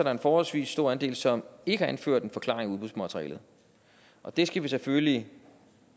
er en forholdsvis stor andel som ikke har anført en forklaring i udbudsmaterialet og det skal vi selvfølgelig